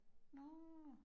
Nå